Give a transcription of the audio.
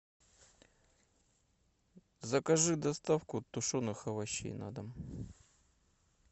закажи доставку тушеных овощей на дом